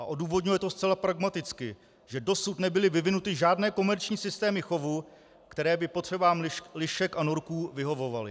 A odůvodňuje to zcela pragmaticky, že dosud nebyly vyvinuty žádné komerční systémy chovu, které by potřebám lišek a norků vyhovovaly.